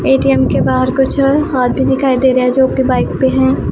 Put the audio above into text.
ATM के बाहर कुछ हाथी दिखाई दे रहा है जोकि बाइक पे हैं।